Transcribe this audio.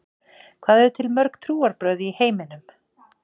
Hvað eru til mörg trúarbrögð í heiminum?